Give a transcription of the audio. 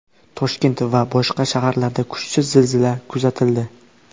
Toshkent va boshqa shaharlarda kuchsiz zilzila kuzatildi.